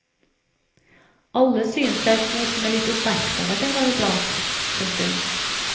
Alle synes det er kos med litt oppmerksomhet en gang i blant. punktum